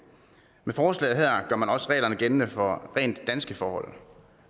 med forslaget her gør man også reglerne gældende for rent danske forhold